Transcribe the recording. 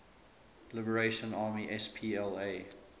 liberation army spla